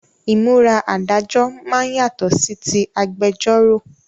Ìmúra Adájọ́ máa ń yàtọ̀ sí tí agbẹjọ́ró